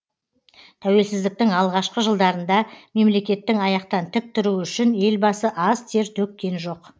тәуелсіздіктің алғашқы жылдарында мемлекеттің аяқтан тік тұруы үшін елбасы аз тер төккен жоқ